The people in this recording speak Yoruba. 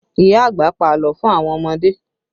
Ìyá àgbà pa àlọ́ fún àwọn ọmọdé